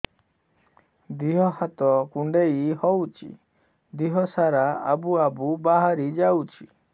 ଦିହ ହାତ କୁଣ୍ଡେଇ ହଉଛି ଦିହ ସାରା ଆବୁ ଆବୁ ବାହାରି ଯାଉଛି